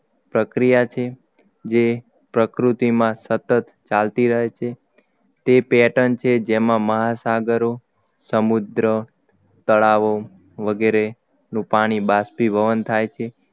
પ્રક્રિયા છે જે પ્રકૃતિમાં સતત ચાલતી રહે છે તે pattern છે જેમાં મહાસાગરો સમુદ્ર તળાવો વગેરે નું પાણી બાષ્પીભવન થાય છે